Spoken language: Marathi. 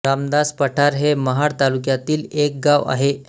रामदास पठार हे महाड तालुक्यातील एक गांव आहे